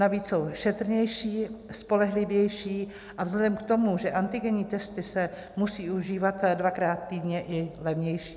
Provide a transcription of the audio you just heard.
Navíc jsou šetrnější, spolehlivější a vzhledem k tomu, že antigenní testy se musí užívat dvakrát týdně, i levnější.